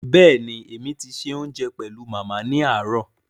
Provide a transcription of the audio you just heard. Béèni èmi ti ṣe òunjẹ pẹlu Màmá ni aarọ̀